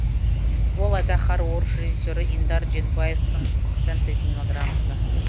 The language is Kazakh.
ол айдаһар орыс режиссері индар дженбаевтің фэнтези мелодрамасы